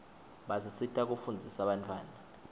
basisita kufundzisa bantfwana